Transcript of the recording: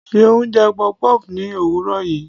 Seun jẹ puff-puff ní òwúrọ̀ yìí.